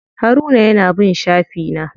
Haruna ya na bin shafi na.